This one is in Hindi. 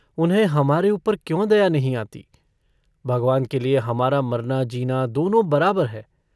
उन्हें हमारे ऊपर क्यों दया नहीं आती? भगवान के लिए हमारा मरना-जीना दोनों बराबर है।